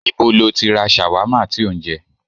Ìbo lọ tí ra ṣàwámà tí ó ń jẹ?